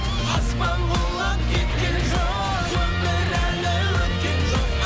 аспан құлап кеткен жоқ өмір әлі өткен жоқ